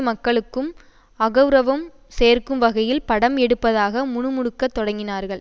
மக்களுக்கும் அகெளரவம் சேர்க்கும் வகையில் படம் எடுப்பதாக முணுமுணுக்கத் தொடங்கினார்கள்